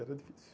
E era difícil.